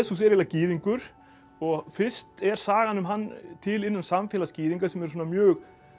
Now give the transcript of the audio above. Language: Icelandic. eiginlega gyðingur og fyrst er sagan um hann til innan samfélags gyðinga sem er mjög